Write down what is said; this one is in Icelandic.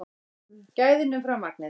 Gæðin umfram magnið